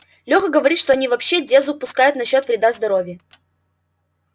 леха говорит что они вообще дезу пускают насчёт вреда здоровью